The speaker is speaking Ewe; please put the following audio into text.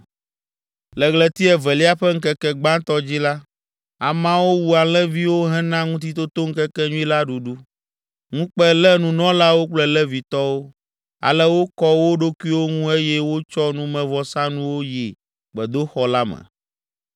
Le ɣleti evelia ƒe ŋkeke gbãtɔ dzi la, ameawo wu alẽviwo hena Ŋutitotoŋkekenyui la ɖuɖu. Ŋukpe lé nunɔlawo kple Levitɔwo, ale wokɔ wo ɖokuiwo ŋu eye wotsɔ numevɔsanuwo yi gbedoxɔ la me.